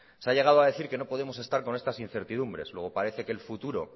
se ha llegado a decir que no podemos estar con estas incertidumbres luego parece que el futuro